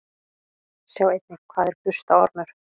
Sjá einnig: Hvað er burstaormur?